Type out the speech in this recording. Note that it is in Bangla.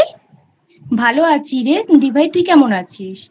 ভালো আছি রে দিভাইতুই কেমন আছিস?